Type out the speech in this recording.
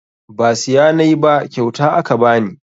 Ba siya nayi ba kyauta aka bani